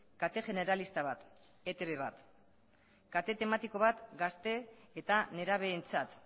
kate generalista bat eitb bat kate tematiko bat gazte eta nerabeentzat